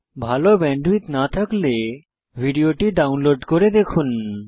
ভাল ব্যান্ডউইডথ না থাকলে ভিডিওটি ডাউনলোড করে দেখুন